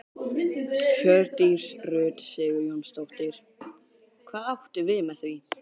Hjördís Rut Sigurjónsdóttir: Hvað áttu við með því?